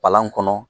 Palan kɔnɔ